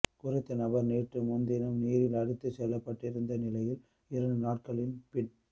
குறித்த நபர் நேற்று முன்தினம் நீரில் அடித்துச் செல்லப்பட்டிருந்த நிலையில் இரண்டு நாட்களின் பின்